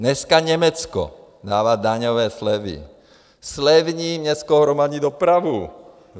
Dneska Německo dává daňové slevy, zlevní městskou hromadnou dopravu.